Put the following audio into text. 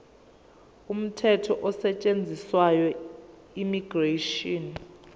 umthetho osetshenziswayo immigration